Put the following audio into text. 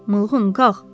Mığqın qalx.